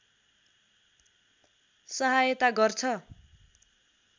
सहायता गर्छ